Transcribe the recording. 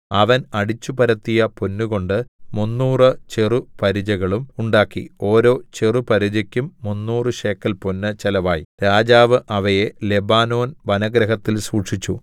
അവൻ അടിച്ചുപരത്തിയ പൊന്നുംകൊണ്ട് മുന്നൂറു ചെറുപരിചകളും ഉണ്ടാക്കി ഓരോ ചെറുപരിചക്കും മുന്നൂറു ശേക്കെൽ പൊന്ന് ചെലവായി രാജാവ് അവയെ ലെബാനോൻ വനഗൃഹത്തിൽ സൂക്ഷിച്ചു